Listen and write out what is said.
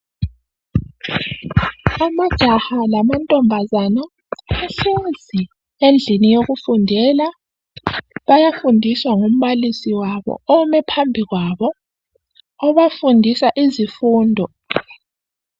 Amajaha lamantombazana bahlezi endlini yokufundela bayafundiswa ngumbalisi wabo ome phambikwabo obafundisa izifundo